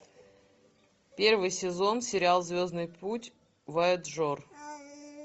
первый сезон сериал звездный путь вояджер